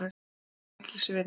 Það var mér mikils virði.